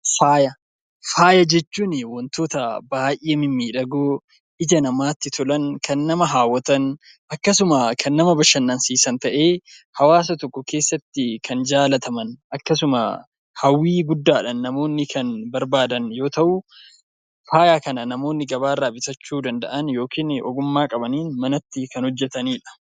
Faaya jechuun wantoota baay'ee mimmiidhagoo, ija namaatti tolan, kan nama hawwatan, akkasuma kan nama bashannansiisan ta'ee hawaasa tokko keessatti kan jaallataman akkasuma hawwii guddaadhaan namoonni kan barbaadan yoo ta'u, faaya kana namoonni gabaarraa bitachuu danda'an yookiin ogummaa qabaniin manatti kan hojjetanii dha.